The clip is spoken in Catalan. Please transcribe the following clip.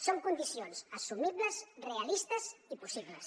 són condicions assumibles realistes i possibles